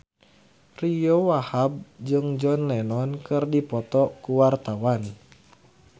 Ariyo Wahab jeung John Lennon keur dipoto ku wartawan